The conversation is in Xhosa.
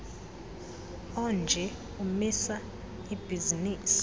onje umisa ibhizinisi